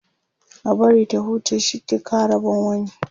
a bari ta huce shi ke kawo Rabon wani